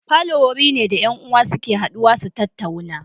Falo wuri ne da 'yan uwa suke haduwa su tattauna